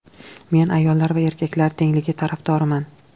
Men ayollar va erkaklar tengligi tarafdoriman.